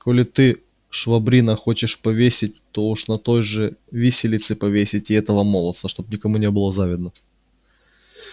коли ты швабрина хочешь повесить то уж на той же виселице повесь и этого молодца чтоб никому не было завидно